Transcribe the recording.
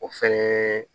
O fɛnɛ